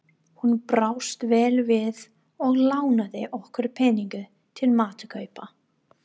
Hún brást vel við og lánaði okkur peninga til matarkaupa.